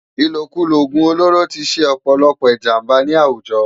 Ilókúló ógún ólóró ti sé òpòlòpò ijàmbá ni áwújò